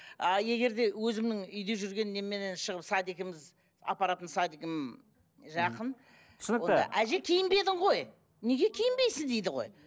а егер де өзімнің үйде жүрген неменнен шығып садигіміз апаратын садигім жақын түсінікті әже киінбедің ғой неге киінбейсің дейді ғой